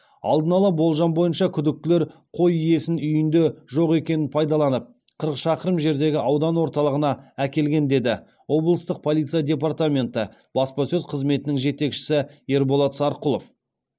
алдын ала болжам бойынша күдіктілер қой иесінің үйінде жоқ екенін пайдаланып қырық шақырым жердегі аудан орталығына әкелген деді облыстық полиция департаменті баспасөз қызметінің жетекшісі ерболат сарқұлов